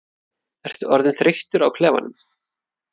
Ertu orðinn þreyttur á klefanum?